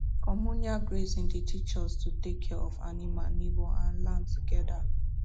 communal grazing dey teach us to take care of animal neighbour and land together